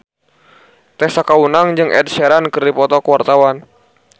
Tessa Kaunang jeung Ed Sheeran keur dipoto ku wartawan